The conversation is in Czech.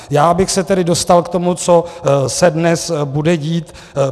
Já bych se tedy dostal k tomu, co se dnes bude dít.